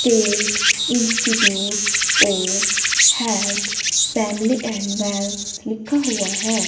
TET institute of health family and wealth लिखा हुआ है।